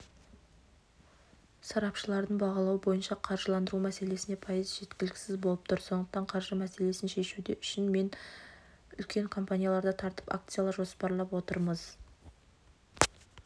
сарапшылардың бағалауы бойынша қаржыландыру мәселесіне пайыз жеткіліксіз болып тұр сондықтан қаржы мәселесін шешуде үшін мен үлкен компанияларды тартып акциялар жоспарлап отырмыз